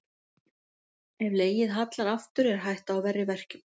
Ef legið hallar aftur er hætta á verri verkjum.